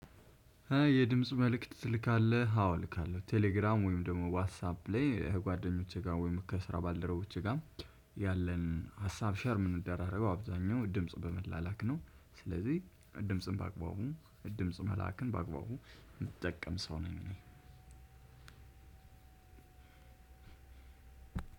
የድምጽ መልእክት ትልካለህ? አዎ እልካለሁ ቴሌግራም ወይም ደግሞ ዋትሳፕ ላይ ጓደኞቼ ጋር ወይም ከስራ ባልደረቦቼ ጋር ያለንን ሀሳብ ሼር ምንደራረገው አብዛኛው ድምጽ በመላላክ ነው። ስለዚህ ድምጽን በአግባቡ ድምጽ መላክን በአግባቡ የምጠቀም ሰው ነኝ።